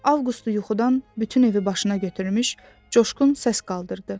Avqustu yuxudan bütün evi başına götürmüş coşqun səs qaldırdı.